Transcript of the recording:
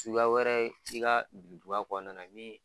Suguya wɛrɛ i ka birintuban kɔnɔna na min